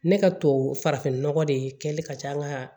Ne ka to farafin nɔgɔ de kɛlen ka taa n ka